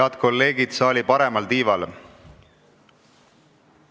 Head kolleegid saali paremal tiival!